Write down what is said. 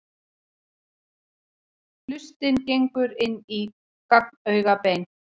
Hlustin gengur inn í gagnaugabein.